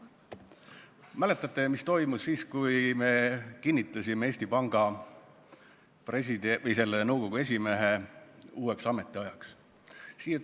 Mäletate, mis toimus siis, kui me kinnitasime Eesti Panga Nõukogu esimehe uueks ametiajaks?